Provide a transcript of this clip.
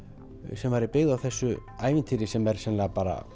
sem er byggð á þessu ævintýri sem er sennilega bara